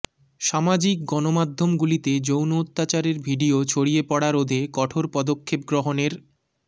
সমাজিক গণমাধ্যমগুলিতে যৌন অত্যাচারের ভিডিও ছড়িয়ে পড়া রোধে কঠোর পদক্ষেপ গ্রহণের